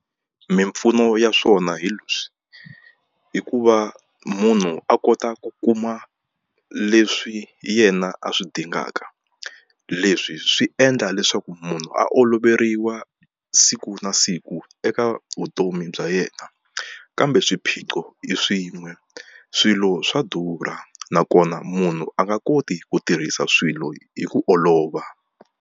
Mimpfuno ya swona hi leswi hikuva munhu a kota ku kuma leswi yena a swi dingaka leswi swi endla leswaku munhu a oloveriwa siku na siku eka vutomi bya yena kambe swiphiqo i swin'we swilo swa durha nakona munhu a nga koti ku tirhisa swilo hi ku olova.